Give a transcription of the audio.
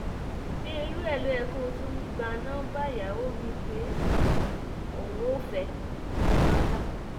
ṣé irú ẹ̀ ló yẹ kó o tún gba nọmba ìyàwó mi pé òun ò fẹ́ wàhálà